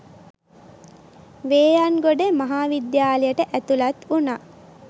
වේයන්ගොඩ මහ විද්‍යාලයට ඇතුළත් වුණා.